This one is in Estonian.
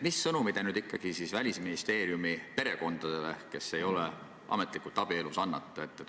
Mis sõnumi te ikkagi annate Välisministeeriumi nendele töötajatele, kes ei ole ametlikult abielus?